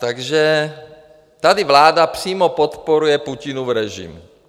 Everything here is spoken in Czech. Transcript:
Takže tady vláda přímo podporuje Putinův režim.